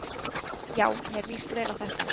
Já mér líst vel á þetta.